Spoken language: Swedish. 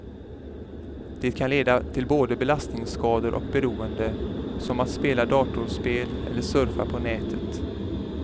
Det kan leda till både belastningsskador och beroende, som att spela datorspel eller surfa på nätet.